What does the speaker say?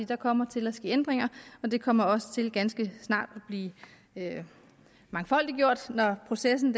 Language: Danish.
der kommer til at ske ændringer og det kommer også til ganske snart at blive mangfoldiggjort når processen